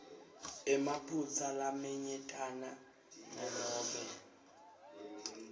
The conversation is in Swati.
emaphutsa lamanyentana nanobe